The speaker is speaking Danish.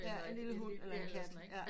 Eller en lille hund eller en kat